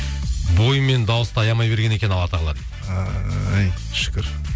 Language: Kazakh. бойы мен дауысты аямай берген екен алла тағала дейді ай шүкір